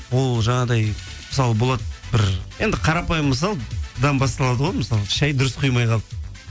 ол жаңағыдай мысалы болады бір енді қарапайым мысалдан басталады ғой мысалы шай дұрыс құймай қалды